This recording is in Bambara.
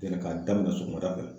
ka daminɛ sɔgɔmada fɛ.